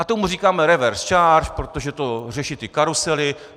A tomu říkáme reverse charge, protože to řeší ty karusely.